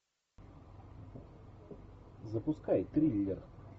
запускай триллер